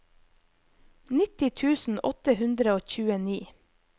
nitti tusen åtte hundre og tjueni